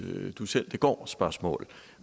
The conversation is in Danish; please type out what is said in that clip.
du selv det går spørgsmål